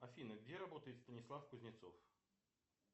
афина где работает станислав кузнецов